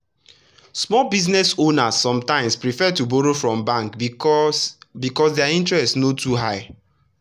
small business owners sometimes prefer to borrow from bank because because their interest no too high.